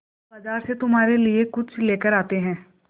चलो बाज़ार से तुम्हारे लिए कुछ लेकर आते हैं